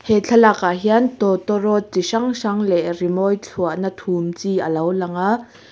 he thlalak ah hian tawtawrawt chi hrang hrang leh rimawi thluahna thum chi alo lang a.